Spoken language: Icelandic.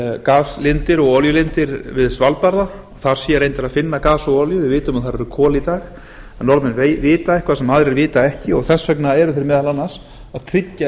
gaslindir og olíulindir við svalbarða þar sé reyndar að finna gas og olíu við vitum að þar eru kol í dag norðmenn vita eitthvað sem aðrir vita ekki og þess vegna eru þeir meðal annars að tryggja